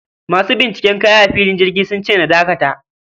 Masu binciken kaya a filin jirgi sunce na dakata